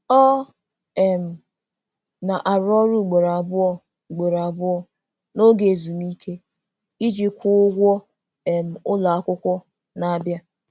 Ọ um na-arụ ọrụ ugboro abụọ ugboro abụọ n'oge ezumike iji kwụọ ụgwọ um ụlọakwụkwọ na-abịa.